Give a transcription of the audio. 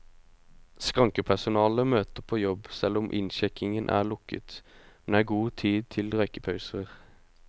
Skrankepersonalet møter på jobb selv om innsjekkingen er lukket, men det er god tid til røykepauser.